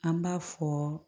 An b'a fɔ